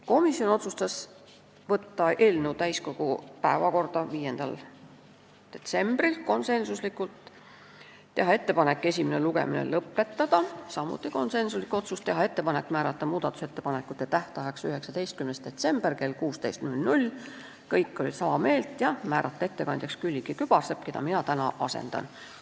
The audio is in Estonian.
Komisjon otsustas konsensuslikult võtta eelnõu täiskogu päevakorda 5. detsembriks, teha ettepaneku esimene lugemine lõpetada , määrata muudatusettepanekute tähtajaks 19. detsember kell 16 ja määrata ettekandjaks Külliki Kübarsepp, keda mina täna asendan.